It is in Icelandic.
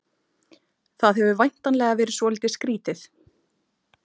Það hefur væntanlega verið svolítið skrýtið?